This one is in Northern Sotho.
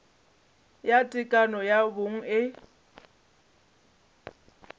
ya tekano ya bong e